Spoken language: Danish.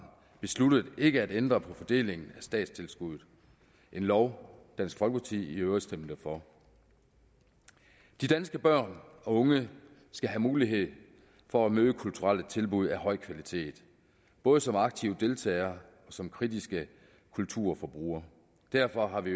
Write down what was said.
besluttet ikke at ændre på fordelingen af statstilskuddet en lov dansk folkeparti i øvrigt stemte for de danske børn og unge skal have mulighed for at møde kulturelle tilbud af høj kvalitet både som aktive deltagere og som kritiske kulturforbrugere derfor har vi